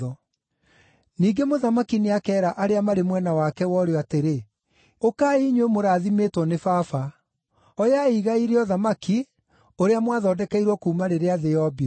“Ningĩ Mũthamaki nĩakeera arĩa marĩ mwena wake wa ũrĩo atĩrĩ, ‘Ũkai, inyuĩ mũrathimĩtwo nĩ Baba; oyai igai rĩa ũthamaki ũrĩa mwathondekeirwo kuuma rĩrĩa thĩ yombirwo.